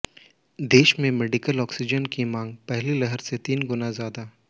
देश में medical oxygen की मांग पहली लहर से तीन गुना ज्यादा